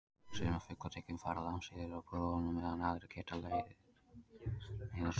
Sumar fuglategundir fara langt suður á boginn á meðan aðrar leita aðeins niður á ströndina.